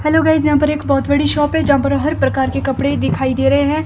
Hello guys यहां पर एक बहोत बड़ी शॉप है जहां पर हर प्रकार के कपड़े दिखाई दे रहे हैं।